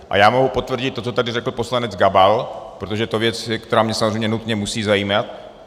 A já mohu potvrdit to, co tady řekl poslanec Gabal, protože to je věc, která mě samozřejmě nutně musí zajímat.